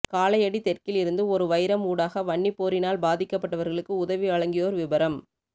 காலையடி தெற்கில் இருந்து ஓரு வைரம் ஊடாக வன்னி போரினால் பாதிக்கப்பட்டவர்களுக்கு உதவிவழங்கியோர் விபரம்